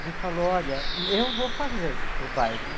Ele falou, olha, eu vou fazer o baile.